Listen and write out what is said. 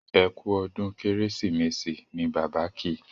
ẹkú ọdún kérésìmesì ní Bàbá kí